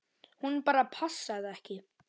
Hún bara passaði ekki.